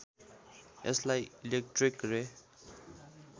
यसलाई इलेक्ट्रिक रे